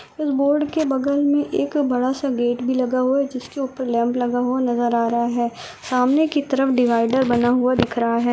इस बोर्ड के बगल मै एक बड़ा सा गेट भी लगा हुआ है जिसके ऊपर लैंप लगा हुआ नजर आ रहा है सामने की तरफ डिवाइडर बना दिख रहा है।